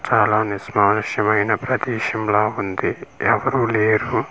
చాలా నిష్మానుషమైన ప్రదేశం లా ఉంది ఎవరూ లేరు.